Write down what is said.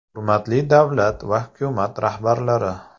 Hurmatli davlat va hukumat rahbarlari!